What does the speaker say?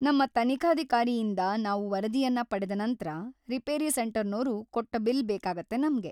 ನಮ್ಮ ತನಿಖಾಧಿಕಾರಿಯಿಂದ ನಾವು ವರದಿಯನ್ನ ಪಡೆದ ನಂತ್ರ, ರಿಪೇರಿ ಸೆಂಟರ್ನೋರು ಕೊಟ್ಟ ಬಿಲ್ ಬೇಕಾಗತ್ತೆ ನಮ್ಗೆ.